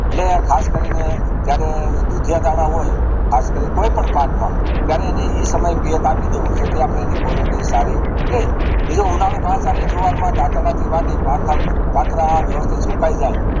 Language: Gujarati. અને ખાસ કરીને જયારે દુધિયા દાણા હોય ખાસ કોઈ પણ પાક માં ત્યારે એને ઈ સમયે પિયત આપી દેવો જેથી અપડે તેની Quality સારી થાય બીજું ઉનાળુ પાક જયારે જુવાર માં દાતરડા થી વાઢે ટાયરે તાંતર વ્યવસ્થિત સુકાય જાય